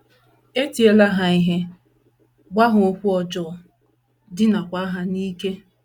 E tiela ha ihe, gwa ha okwu ọjọọ, dinaakwa ha n’ike.